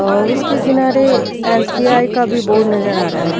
और उसके किनारे एसबीआई का भी बोर्ड भी नजर आ रहा है।